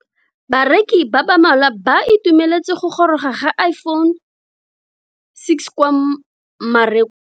Bareki ba ba malwa ba ituemeletse go goroga ga Iphone6 kwa mmarakeng.